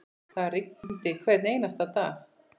Það rigndi hvern einasta dag.